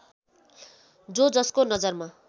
जो जसको नजरमा